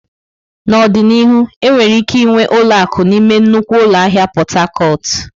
N'ọdịnihu, enwere ike ịnwe ụlọ akụ n'ime nnukwu ụlọ ahịa Pot Tarcot.